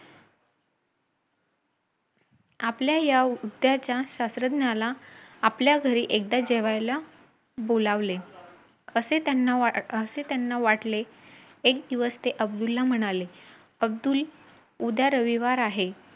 आपल्या या उद्याच्या शास्त्रज्ञाला आपल्या घरी एकदा जेवायला बोलावले. असे त्यांना वाटले, एक दिवस ते अब्दुलला म्हणाले, अब्दुल उद्या रविवार आहे.